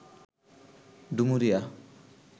Dumuria